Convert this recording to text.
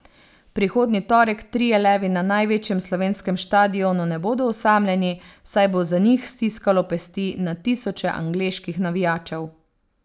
Prihodnji torek trije levi na največjem slovenskem štadionu ne bodo osamljeni, saj bo za njih stiskalo pesti na tisoče angleških navijačev.